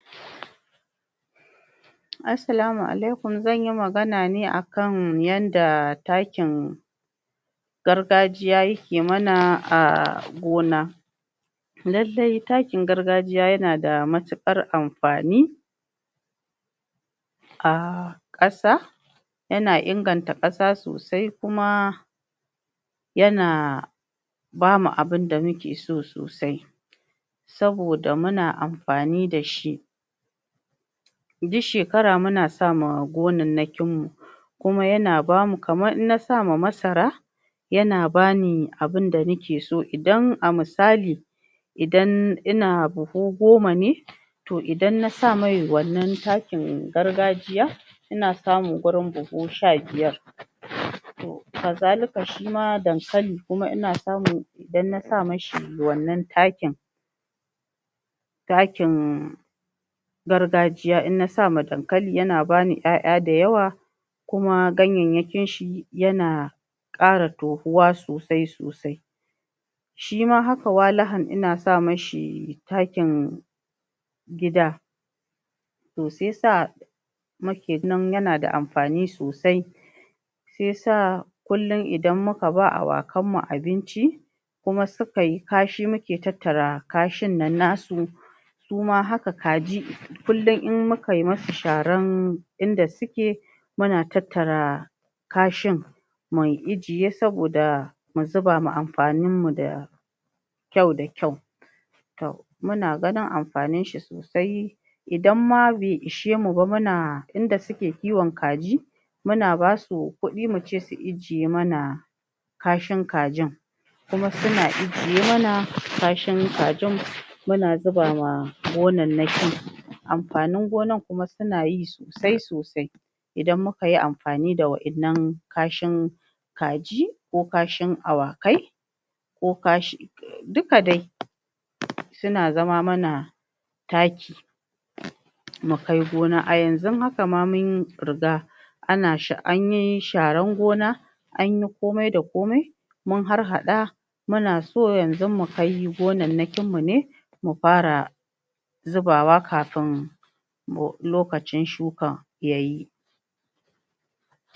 assalamu alaykum zanyi magana ne akan yanda takin gargajiya yake mana a gona nan dai takin gargajiya yanada matiƙar amfani a ƙasa yana inganta ƙasa sosai kuma yana bamu abunda muke so sosai saboda muna amfani dashi duk shekara muna sama gonan nakin mu kuma yana bamu kamar in na sama masara yana bani abunda nake so idan a musali idan ina buhu goma ne to idan na sa mai wannan takin gargajiya ina samun gurin buhu sha biyar to ka zalika shima dankali ina samun idan na sami shi wannan takin takin gargajiya in na sama dankali yana bani 'ya 'ya dayawa kuma ganyayyakin shi yana ƙara tohuwa sosai sosai shima haka walahan ina sa mishi takin gida to sai yasa mafin nan yana da amfani sosai se sa kullun idan muka ba awakan mu abinci kuma suka yi kashi muke tattara kashin nan nasu suma haka kaji kullun in muka musu sharan inda suke muna tattara kashin mu ijiye saboda mu zuba ma amfanin mu da da kyau da kyau tam muna ganin amfanin shi sosai idan ma bai ishe mu ba muna inda suke kiwon kaji muna basu kudi mu ce su ijiye mana kashin kajin kuma suna ijiye mana kashin kajin muna zuba ma gonannaki amfanin gonan kuma sunayi sosai sosai idan mukuyi amfani da wa'yanan kashin kaji ko kashin awakai ko kashin duka dai suna zama mana taki mu kai gona a yanzun haka ma mun riga anyi sharan gona anyi komai da komai mun har haɗa muna so yanzu mukai gonannakin mu ne mu fara zuba wa kafin lokacin shukan yayi